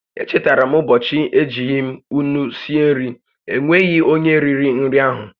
E chetara m ụbọchị m ejighi ńnú sie nri, e nweghị onyé riri nri áhụ̀